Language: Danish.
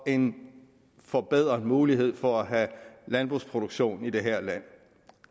en forbedret mulighed for at have landbrugsproduktion i det her land